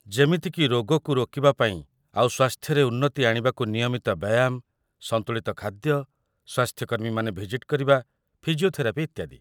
ଯେମିତିକି ରୋଗକୁ ରୋକିବା ପାଇଁ ଆଉ ସ୍ୱାସ୍ଥ୍ୟରେ ଉନ୍ନତି ଆଣିବାକୁ ନିୟମିତ ବ୍ୟାୟାମ, ସନ୍ତୁଳିତ ଖାଦ୍ୟ, ସ୍ୱାସ୍ଥ୍ୟ କର୍ମୀମାନେ ଭିଜିଟ୍ କରିବା, ଫିଜିଓଥେରାପି ଇତ୍ୟାଦି ।